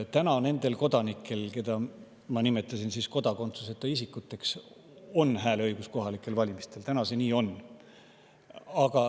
Nendel kodanikel, keda ma nimetasin kodakondsuseta isikuteks, on täna hääleõigus kohalikel valimistel, nii see on.